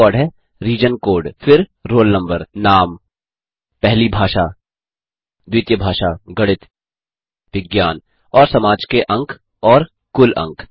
पहला रिकॉर्ड है region code फिर रोल नम्बर नाम पहली भाषा द्वितीय भाषा गणित विज्ञान और समाज के अंक और कुल अंक